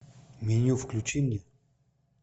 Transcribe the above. меню включи мне